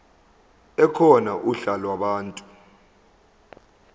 ekhona uhla lwabantu